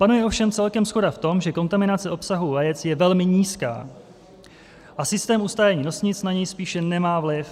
Panuje ovšem celkem shoda v tom, že kontaminace obsahu vajec je velmi nízká a systém ustájení nosnic na něj spíše nemá vliv.